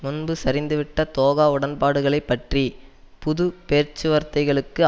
முன்பு சரிந்துவிட்ட தோகா உடன்பாடுகளை பற்றி புது பேச்சுவார்த்தைகளுக்கு